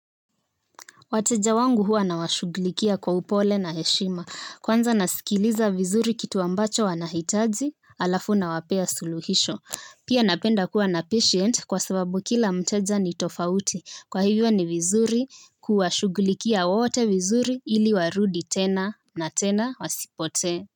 Wateja wangu huwa na washughulikia kwa upole na heshima. Kwanza nasikiliza vizuri kitu ambacho wanahitaji alafu nawapea suluhisho. Pia napenda kuwa na patient kwa sababu kila mteja ni tofauti. Kwa hivyo ni vizuri kuwashughulikia wote vizuri ili warudi tena na tena wasipotee.